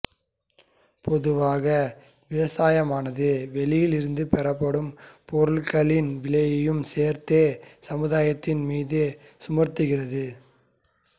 பொதுவாக விவசாயமானது வெளியிலிருந்து பெறப்படும் பொருட்களின் விலையையும் சேர்த்தே சமுதாயத்தின் மீது சுமத்துகிறது